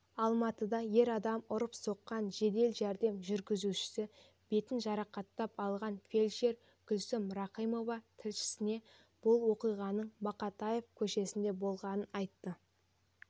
алматыда ер адам ұрып-соққан жедел жәрдем жүргізушісі бетін жарақаттап алған фельдшер гүлсім рахимова тілшісіне бұл оқиғаның мақатаев көшесінде болғанын айтты